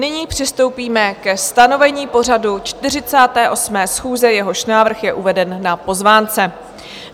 Nyní přistoupíme ke stanovení pořadu 48. schůze, jehož návrh je uveden na pozvánce.